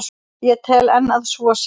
Ég tel enn að svo sé.